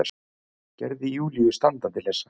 Gerði Júlíu standandi hlessa.